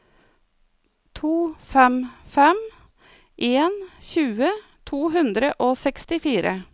to fem fem en tjue to hundre og sekstifire